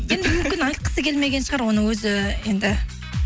енді мүмкін айтқысы келмеген шығар оны өзі енді